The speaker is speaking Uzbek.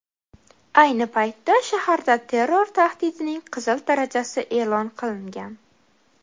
Ayni paytda shaharda terror tahdidining qizil darajasi e’lon qilingan.